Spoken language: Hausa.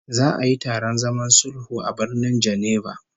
Za'a yi taron zaman sulhu a Birnin Geneva